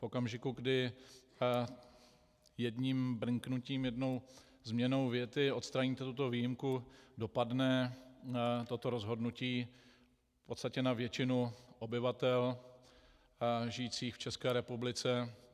V okamžiku, kdy jedním brnknutím, jednou změnou věty odstraníte tuto výjimku, dopadne toto rozhodnutí v podstatě na většinu obyvatel žijících v České republice.